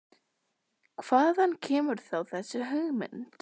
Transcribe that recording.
Kristján Már: Hvaðan kemur þá þessi hugmynd?